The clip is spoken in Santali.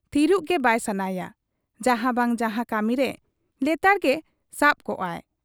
ᱛᱷᱤᱨᱚᱜ ᱜᱮ ᱵᱟᱭ ᱥᱟᱱᱟᱭᱟ ᱡᱟᱦᱟᱸ ᱵᱟᱝ ᱡᱟᱦᱟᱸ ᱠᱟᱹᱢᱤᱨᱮ ᱞᱮᱛᱟᱲ ᱜᱮ ᱥᱟᱵ ᱠᱚᱜ ᱟᱭ ᱾